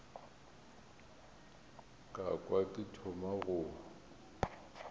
ka kwa ke thoma go